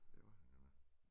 Det var han godt nok